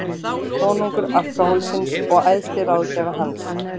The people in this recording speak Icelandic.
Konungur alkóhólsins og æðsti ráðgjafi hans.